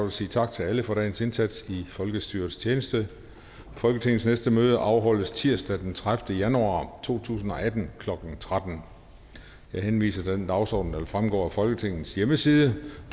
at sige tak til alle for dagens indsats i folkestyrets tjeneste folketingets næste møde afholdes tirsdag den tredivete januar to tusind og atten klokken tretten jeg henviser til den dagsorden der vil fremgå af folketingets hjemmeside